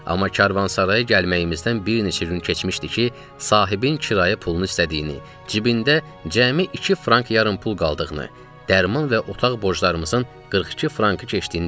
Amma karvansaraya gəlməyimizdən bir neçə gün keçmişdi ki, sahibin kirayə pulunu istədiyini, cibində cəmi iki frank yarım pul qaldığını, dərman və otaq borclarımızın 42 frankı keçdiyini dedi.